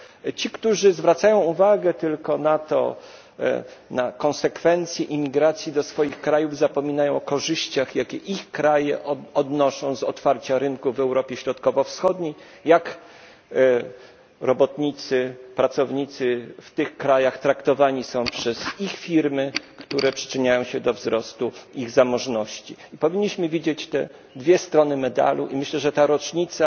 Ci, którzy zwracają uwagę tylko na konsekwencje imigracji do swoich krajów, zapominają o korzyściach, jakie ich kraje odnoszą z otwarcia rynku w Europie Środkowo Wschodniej, i o tym, jak robotnicy, pracownicy w tych krajach traktowani są przez ich firmy, które przyczyniają się do wzrostu ich zamożności. Powinniśmy widzieć te dwie strony medalu i myślę, że ta rocznica